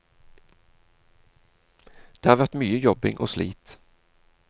Det har vært mye jobbing og slit.